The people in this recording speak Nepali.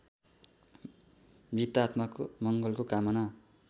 मृतात्माको मङ्गलको कामना